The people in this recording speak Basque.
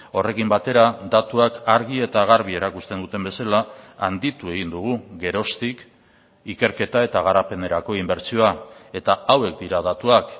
horrekin batera datuak argi eta garbi erakusten duten bezala handitu egin dugu geroztik ikerketa eta garapenerako inbertsioa eta hauek dira datuak